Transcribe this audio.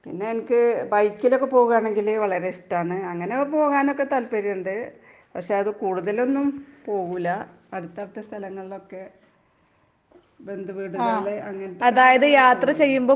പിന്നെ എൻക്ക് ബൈക്കിലൊക്കെ പോകുകാണെങ്കില് വളരെ ഇഷ്ടാണ്. അങ്ങനൊക്കെ പോകാനൊക്കെ താല്പര്യോണ്ട്. പക്ഷെയത് കൂടുതലൊന്നും പോകൂല്ല, അടുത്തടുത്ത സ്ഥലങ്ങളിലൊക്കെ ബന്ധുവീട്കളില് അങ്ങനത്തെ